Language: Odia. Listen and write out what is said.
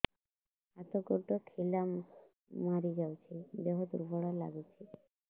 ହାତ ଗୋଡ ଖିଲା ମାରିଯାଉଛି ଦେହ ଦୁର୍ବଳ ଲାଗୁଚି